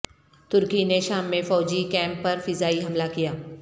ترکی نے شام میں فوجی کیمپ پر فضائی حملہ کیا